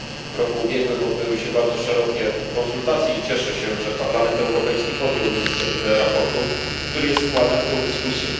W roku ubiegłym odbyły się bardzo szerokie konsultacje i cieszę się, że Parlament Europejski podjął inicjatywę sprawozdania, które jest wkładem w tę dyskusję.